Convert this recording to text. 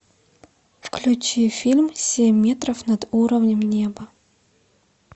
включи фильм семь метров над уровнем неба